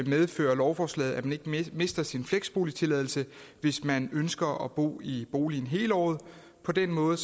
medfører lovforslaget at man ikke mister sin fleksboligtilladelse hvis man ønsker at bo i boligen hele året på den måde